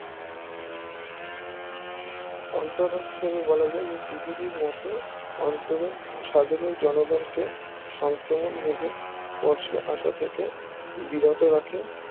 অন্তরণ হিসাবে বলা যায় যে CCD এর মোতে অন্তরন সাধারণ জনগণকে সংক্রমণ রোগে স্পর্শে আশা থেকে বিরত রাখে